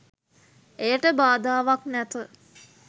එයට බාධාවක් නැත.